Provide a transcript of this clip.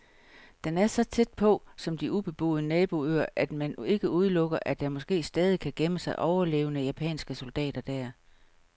Den er så tæt, som på de ubeboede naboøer, at man ikke udelukker, at der måske stadig kan gemme sig overlevende japanske soldater der.